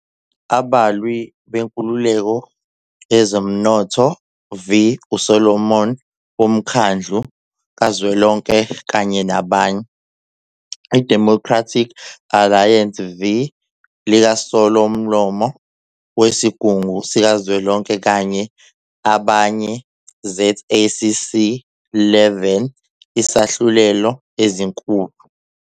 Abalwi Nkululeko Yezomnotho v uSomlomo woMkhandlu Kazwelonke kanye nabanye, IDemocratic Alliance v LikaSomlomo weSigungu Sikazwelonke kanye Abanye ZACC 11 isahlulelo ezinkulu